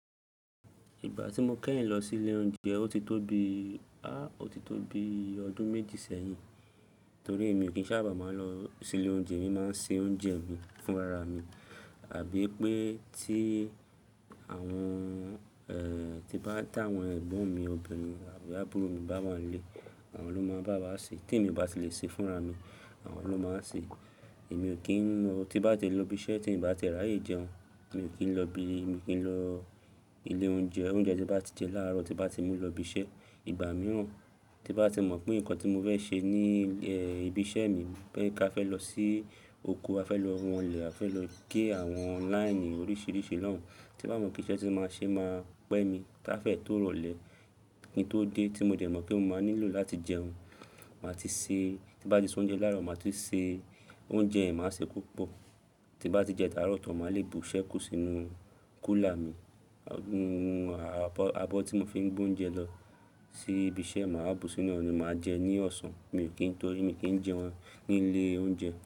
Ìgbà tí mo kẹ́yìn lọ sí ilé oúnjẹ, ó ti tó bi, á, ó ti tó bi ọdún méjì sẹ́yìn. Torí èmi kì í sábà máa ń lọ sí ilé oúnjẹ. Èmi máa ń se oúnjẹ mi fúnra mi. Àbí pé tí àwọn, e, tí bá tá àwọn ẹ̀gbọ́n mi obìnrin àbí àbúrò mi bá wà nílé, àwọn ló máa ń bá wa ṣe. Tí èmi bá ti le ṣe fúnra mi, àwọn ló máa ṣe. Èmi ò kí ń lọ-- tí bá ti lọ ibi iṣẹ́ tí ì bá ti rà yí jẹun, mi ò kí ń lọ bi-- mi ò kí ń lọ ilé oúnjẹ. Oúnjẹ tí bá ti jẹ láàárọ̀ tí bá ti mú lọ ibi iṣẹ́, ìgbà mìíràn tí bá ti mọ̀ pé nǹkan tí mo fẹ́ ṣe ní, e, ibi iṣẹ́ mi, pé ká fẹ́ lọ sí oko, a fẹ́ lọ wọnlẹ̀, a fẹ́ lọ gé àwọn láìnì oríṣiríṣi náà hán. Tí bá mọ̀ kí iṣẹ́ tí máa ṣe máa pẹ́ mi, táfẹ́ ẹ tó rọlẹ̀, kí n tó dé tí mo dẹ̀ mọ̀ pé mo máa nílò láti jẹun, màá ti se-- tí bá ti se oúnjẹ láàárọ̀, màá ti se oúnjẹ mi, màá se púpọ̀. Tí bá ti jẹ àárọ̀ tó, màá le bù ṣẹ́kù sínú kúlà mi. Abọ́ tí mo fi ń gbé oúnjẹ lọ sí ibi iṣẹ́, màá bù sínú ọ̀nà, màá jẹ ní ọ̀sán. Mi ò kí n-- torí mi kì í jẹ wọ́n ní ilé oúnjẹ.